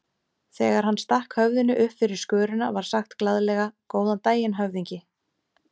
Þegar hann stakk höfðinu uppfyrir skörina var sagt glaðlega: Góðan daginn, höfðingi.